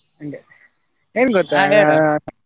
ಹಂಗೆ ಎನ್ ?